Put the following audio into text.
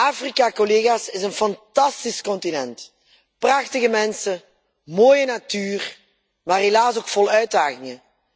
Afrika is een fantastisch continent prachtige mensen, mooie natuur, maar helaas ook vol uitdagingen.